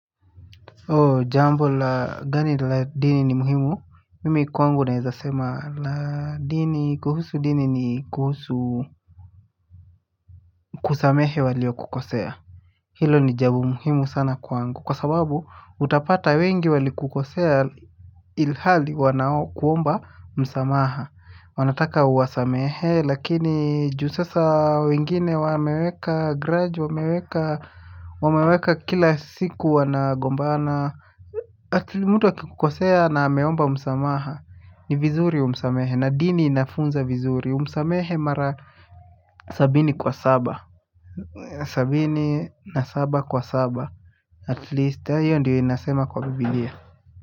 O jambo la gani la dini ni muhimu, mimi kwangu naweza sema la dini kuhusu dini ni kuhusu kusamehe waliokukosea. Hilo ni jambo muhimu sana kwangu kwa sababu utapata wengi walikukosea ilhali wanakuomba msamaha. Wanataka uwasamehe lakini juu sasa wengine wameweka gradge wameweka kila siku wanagombana. Ati mtu akikukosea na ameomba msamaha ni vizuri umsamehe na dini inafunza vizuri umsamehe mara sabini kwa saba sabini na saba kwa saba at least hiyo ndiyo inasema kwa Biblia.